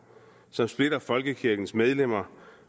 som splitter folkekirkens medlemmer